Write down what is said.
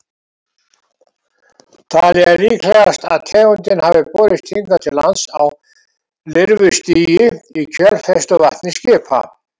Talið er líklegast að tegundin hafi borist hingað til lands á lirfustigi í kjölfestuvatni skipa.